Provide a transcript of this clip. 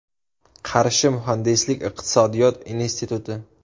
Qarshi muhandislik iqtisodiyot instituti.